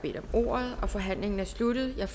mulighed